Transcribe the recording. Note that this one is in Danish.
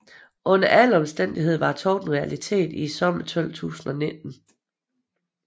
Under alle omstændigheder var togtet en realitet i sommeren 1219